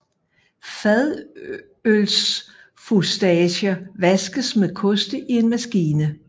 Fadølsfustager vaskes med koste i en maskine